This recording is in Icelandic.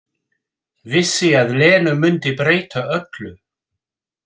Vissi að Lena mundi breyta öllu.